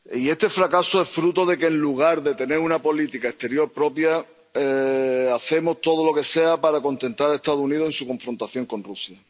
Este fracaso es fruto de que, en lugar de tener una política exterior propia, hacemos todo lo que sea para contentar a los Estados Unidos en su confrontación con Rusia.